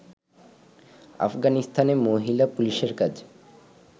আফগানিস্তানে মহিলা পুলিশের কাজ